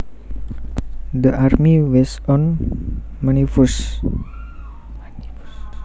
The army was on maneuvers